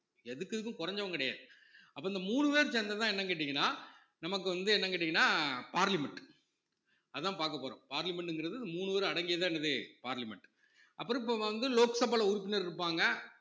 எதுக்கு இதுக்கும் குறைஞ்சவன் கிடையாது அப்ப இந்த மூணு பேரும் சேர்ந்ததுதான என்னன்னு கேட்டீங்கன்னா நமக்கு வந்து என்ன கேட்டீங்கன்னா parliament அதான் பாக்க போறோம் parliament ங்கிறது மூணு பேரும் அடங்கியதுதான் என்னது parliament அப்புறம் இப்ப வந்து லோக்சபால உறுப்பினர் இருப்பாங்க